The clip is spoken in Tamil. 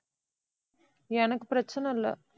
எனக்கு பிரச்சனை இல்லை.